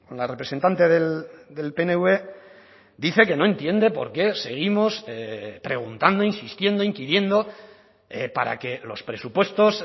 la representante del pnv dice que no entiende porqué seguimos preguntando insistiendo inquiriendo para que los presupuestos